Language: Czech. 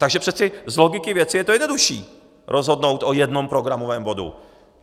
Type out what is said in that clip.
Takže přece z logiky věci je to jednodušší, rozhodnout o jednom programovém bodu.